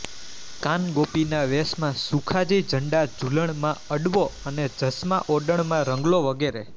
કાનગોપી ના વેશમાં સુખાજી ઝંડા ઝૂલણ માં અડવો અને જસમાઓડણમાં રંગલો વગેરે